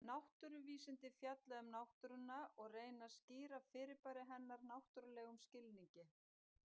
Náttúruvísindi fjalla um náttúruna og reyna að skýra fyrirbæri hennar náttúrlegum skilningi.